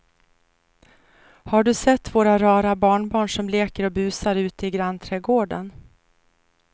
Har du sett våra rara barnbarn som leker och busar ute i grannträdgården!